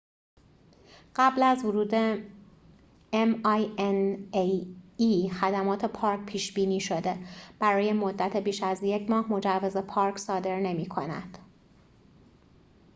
خدمات پارک minae قبل از ورود پیش بینی شده، برای مدت بیش از یک ماه مجوز پارک صادر نمی کند